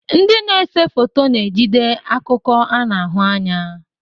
Ndị na-ese foto na-ejide akụkọ a na-ahụ anya.